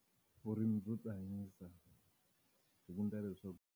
Vurimi byo ti hanyisa, hi ku endla leswaku.